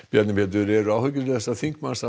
Bjarni Pétur eru áhyggjur þessa þingmanns